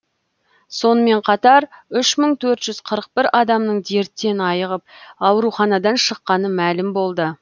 сонымен қатар үш мың төрт жүз қырық бір адамның дерттен айығып ауруханадан шыққаны мәлім болды